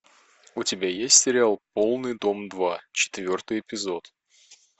у тебя есть сериал полный дом два четвертый эпизод